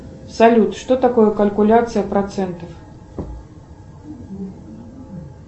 салют что такое калькуляция процентов